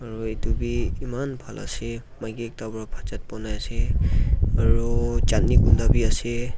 aru etu bhi eman bhan ase maiki ekta para bhat sat bonai ase aru chatni khunda bhi ase.